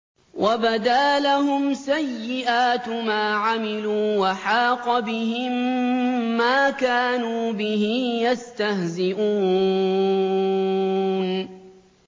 وَبَدَا لَهُمْ سَيِّئَاتُ مَا عَمِلُوا وَحَاقَ بِهِم مَّا كَانُوا بِهِ يَسْتَهْزِئُونَ